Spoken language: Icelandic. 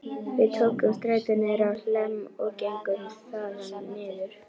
Við tókum strætó niður á Hlemm og gengum þaðan niður